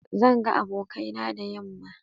Zan ga abokaina da yamma.